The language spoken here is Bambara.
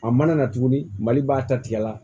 A mana na tuguni mali b'a ta tigɛ la